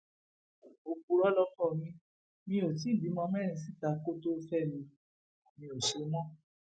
òpùrọ lọkọ mi o ò ti bímọ mẹrin síta kó tóó fẹ mi mi ò ṣe mọ